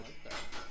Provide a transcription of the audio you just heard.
Hold da op